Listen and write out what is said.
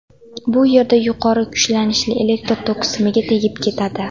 Bu yerda yuqori kuchlanishli elektr toki simiga tegib ketadi.